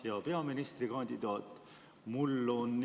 Hea peaministrikandidaat!